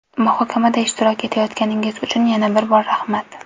Muhokamada ishtirok etayotganingiz uchun yana bir bor rahmat.